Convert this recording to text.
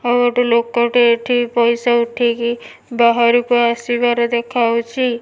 ଆଉ ଗୋଟେ ଲୋକଟେ ଏଠି ପଇସା ଉଠେଇକି ବାହାରକୁ ଆସିବାର ଦେଖାଯାଉଚି।